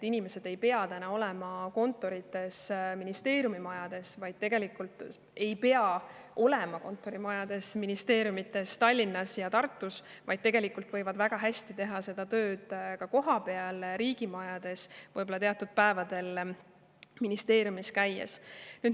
Inimesed ei pea olema kontorites ministeeriumimajades Tallinnas ja Tartus, vaid tegelikult võivad nad väga hästi teha oma tööd ka kohapeal riigimajades, võib-olla vaid teatud päevadel ministeeriumis käies.